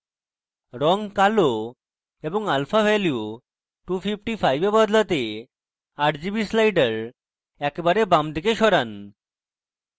rgb কালো এবং alpha value 255 এ বদলাতে rgb sliders একেবারে বামদিকে সরান